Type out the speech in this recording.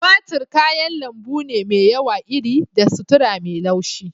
Tumatir kayan lambu ne mai yawa iri da sutura mai laushi.